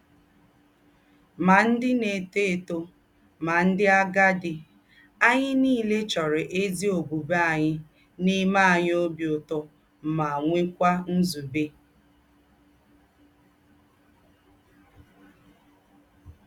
Má ndị̀ na-étò étò, má ndị̀ àgádì, ányị̀ niilè chọ́rọ̀ ézí ọ̀bụ̀bụ̀én̄yi na-eme ányị̀ óbì ūtọ́ ma nwèkwà nzúbé.